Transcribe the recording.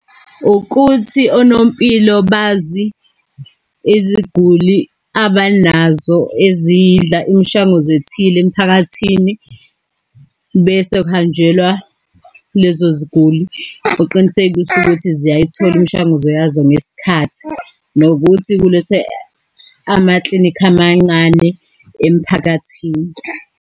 Ukuthi onompilo bazi iziguli abanazo ezidla imishwanguzo ethile emiphakathini, bese kuhanjelwa lezo iziguli. Kuqinisekiswe ukuthi ziyayithola imishanguzo yazo ngesikhathi, nokuthi kulethwe amaklinikhi amancane emphakathini.